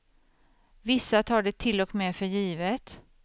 Vissa tar det till och med för givet.